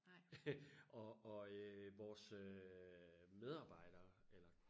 og og øh vores øh medarbejdere eller